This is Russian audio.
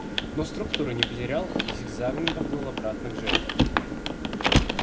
но структуры не потерял и зигзагам поплыл обратно к жертве